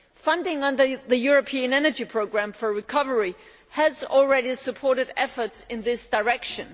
Funding under the European Energy Programme for Recovery has already supported efforts in this direction.